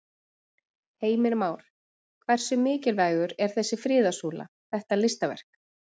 Heimir Már: Hversu mikilvægur er þessi friðarsúla, þetta listaverk?